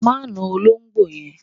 Má na olóńgbò yẹn